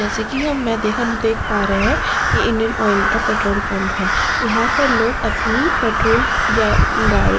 जैसे कि हम मैं देख हम देख पा रहे हैं। ये इंडियन ऑयल का पेट्रोल पंप है। यहाँ पर लोग अपनी पेट्रोल या गा --